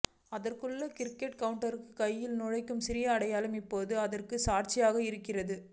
அதனுள்ளே ticket கவுன்டருக்கான கையை நுழைக்கும் சிறிய அடையாளம் இப்போதும் அதற்கு சாட்சியாக இருக்கிறது